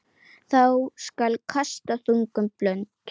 Þá skal kasta þungum blund.